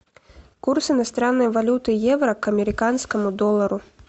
курс иностранной валюты евро к американскому доллару